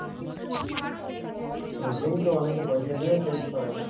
rating তো অনেকে পয়সা দিয়েও change করাই না?